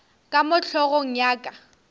ka mo hlogong ya ka